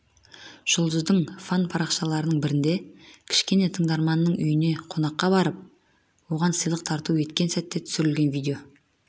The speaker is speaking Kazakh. жұлдыздың фан парақшаларының бірінде кішкене тыңдарманының үйіне қонаққа барып оған сыйлық тарту еткен сәтте түсірілген видео